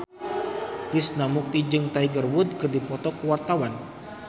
Krishna Mukti jeung Tiger Wood keur dipoto ku wartawan